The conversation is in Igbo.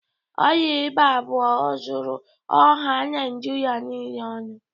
Ọrịa ịba bụ ozuru ọha Naijịrịa niile ọnụ.